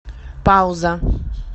пауза